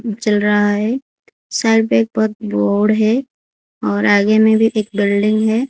जल रहा है साइड में एक बहोत बोर्ड है और आगे में भी एक बिल्डिंग है।